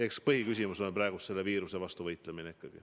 Eks põhiküsimus on praegu ikkagi selle viiruse vastu võitlemine.